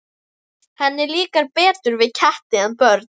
Henni líkar betur við ketti en börn.